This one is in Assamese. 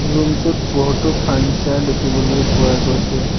ৰুম টোত বহুতো ফাৰ্নিছাৰ দেখিবলৈ পোৱা গৈছে।